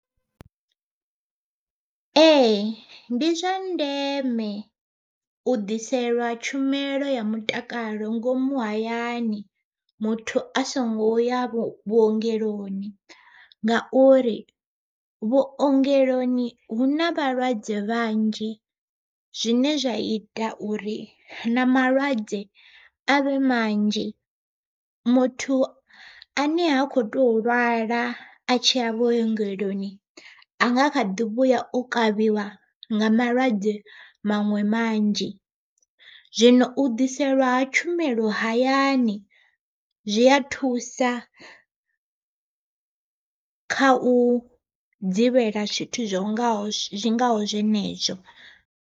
Ee ndi zwa ndeme, u ḓiselwa tshumelo ya mutakalo ngomu hayani, muthu a songo ya vho vhuongeloni. Ngauri vhuongeloni hu na vhalwadze vhanzhi, zwine zwa ita uri na malwadze a vhe manzhi. Muthu ane ha khou tou lwala a tshi ya vhuongeloni a nga kha ḓi vhuya o kavhiwa nga malwadze maṅwe manzhi. Zwino u ḓiselwa ha tshumelo hayani, zwi a thusa kha u dzivhela zwithu zwi ngaho zwi ngaho zwenezwo.